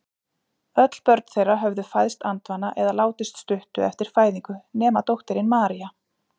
Öll börn þeirra höfðu fæðst andvana eða látist stuttu eftir fæðingu nema dóttirin María.